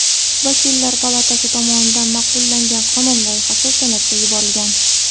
Vakillar palatasi tomonidan ma’qullangan qonun loyihasi Senatga yuborilgan.